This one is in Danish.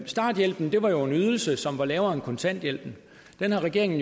starthjælpen var jo en ydelse som var lavere end kontanthjælpen den har regeringen